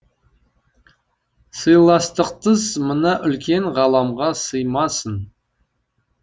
сыйластықсыз мына үлкен ғаламға сыймасың